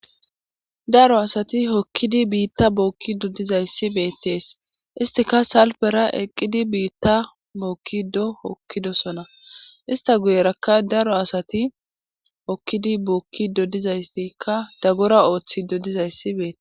daro asati hokkidi biitta bookki doddizayssi beettees istika salpera eqqidi biitta mookki do hokkidosona ista guyerakka daro asati hokkidi bookki doddizaystikka daggora ooththi dodizayssi beetesi